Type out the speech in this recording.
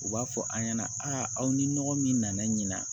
U b'a fɔ an ɲɛna a ni nɔgɔ min nana ɲina